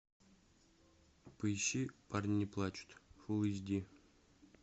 поищи парни не плачут фулл эйч ди